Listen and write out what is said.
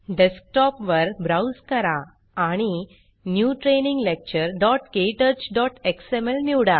desktop वर browse करा आणि न्यू ट्रेनिंग lecturektouchएक्सएमएल